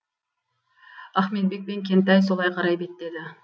ахметбек пен кентай солай қарай беттеді